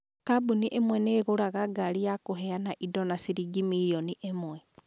Kambuni ĩmwe nĩ ĩgũraga ngari ya kũheana indo na ciringi milioni ĩmwe.